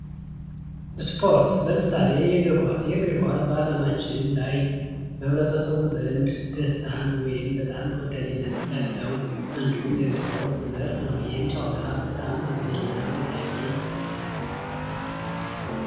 ስፖርት ለምሳሌ የእግር ኳስ የእግር ኳስ በአለማችን ላይ በህብረተሰቡ ዘንድ ደስታን ወይም በጣም ተወዳጅነትን ያለው አንዱ የስፖርት ዘርፍ ነው። ይህም ጨዋታ በጣም አዝናኝ እና ማራኪ ነው።